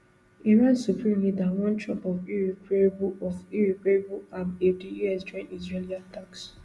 iran supreme leader warn trump of irreparable of irreparable harm if di us join israeli attacks